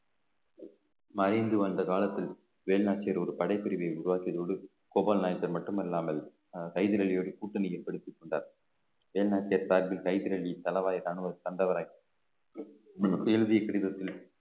மறைந்து வந்த காலத்தில் வேலுநாச்சியார் ஒரு படைப்பிரிவை உருவாக்கியதோடு கோபால் நாயக்கர் மட்டுமல்லாமல் ஹைதர் அலியோட கூட்டணி ஏற்படுத்திக்கொண்டார் வேலுநாச்சியார் ஹைதர் அலி தளவாய்ரான ஒரு தண்டவராயன் எழுதிய கடிதத்தில்